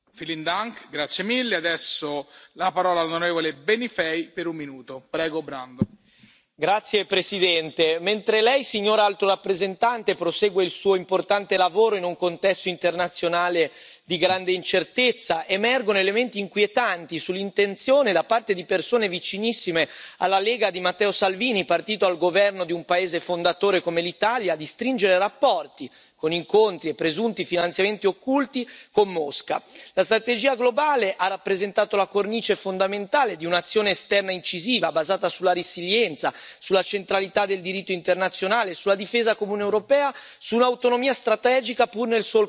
Signor Presidente, onorevoli colleghi, mentre Lei, signora Alto rappresentante, prosegue il Suo importante lavoro in un contesto internazionale di grande incertezza, emergono elementi inquietanti sull'intenzione da parte di persone vicinissime alla Lega di Matteo Salvini, partito al governo di un paese fondatore come l'Italia, di stringere rapporti con incontri e presunti finanziamenti occulti con Mosca. La strategia globale ha rappresentato la cornice fondamentale di un'azione esterna incisiva basata sulla resilienza, sulla centralità del diritto internazionale, sulla difesa comune europea, sull'autonomia strategica, pur nel solco della NATO.